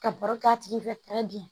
Ka baro k'a tigi fɛ bi